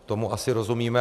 Tomu asi rozumíme.